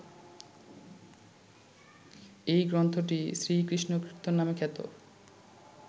এই গ্রন্থটিই শ্রীকৃষ্ণকীর্তন নামে খ্যাত